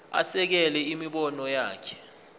asekele imibono yakhe